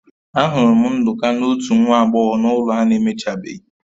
Ahụrụ m Nduka na otu nwa agbọghọ na ụlọ a na-emechabeghị